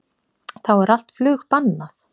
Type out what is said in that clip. Þá er allt flug bannað